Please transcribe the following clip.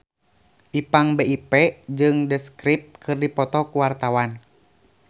Ipank BIP jeung The Script keur dipoto ku wartawan